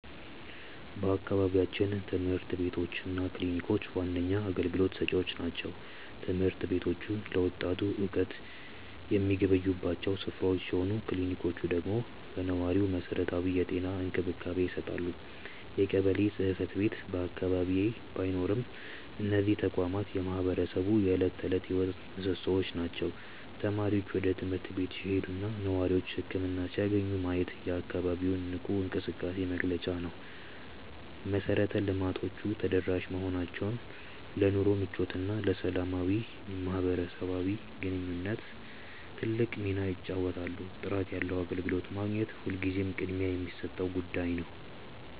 በአካባቢያችን ትምህርት ቤቶች እና ክሊኒኮች ዋነኛ አገልግሎት ሰጪዎች ናቸው። ትምህርት ቤቶቹ ለወጣቱ እውቀት የሚገበዩባቸው ስፍራዎች ሲሆኑ፣ ክሊኒኮቹ ደግሞ ለነዋሪው መሰረታዊ የጤና እንክብካቤ ይሰጣሉ። የቀበሌ ጽሕፈት ቤት በአቅራቢያ ባይኖርም፣ እነዚህ ተቋማት የማህበረሰቡ የዕለት ተዕለት ሕይወት ምሶሶዎች ናቸው። ተማሪዎች ወደ ትምህርት ቤት ሲሄዱና ነዋሪዎች ህክምና ሲያገኙ ማየት የአካባቢው ንቁ እንቅስቃሴ መገለጫ ነው። መሰረተ ልማቶቹ ተደራሽ መሆናቸው ለኑሮ ምቾትና ለሰላማዊ ማህበራዊ ግንኙነት ትልቅ ሚና ይጫወታሉ። ጥራት ያለው አገልግሎት ማግኘት ሁልጊዜም ቅድሚያ የሚሰጠው ጉዳይ ነው።